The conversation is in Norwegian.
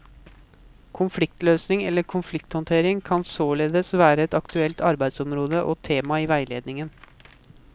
Konfliktløsning eller konflikthåndtering kan således være et aktuelt arbeidsområde og tema i veiledning.